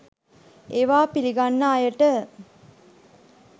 ඒවා පිළිගන්න අයට